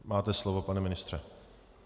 Máte slovo, pane ministře.